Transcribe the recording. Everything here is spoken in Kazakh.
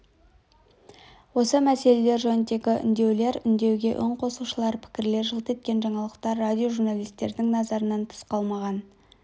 осы мәселелер жөніндегі үндеулер үндеуге үн қосушылар пікірлер жылт еткен жаңалықтар радиожурналистердің назарынан тыс қалмаған